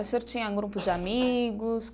O senhor tinha grupo de amigos?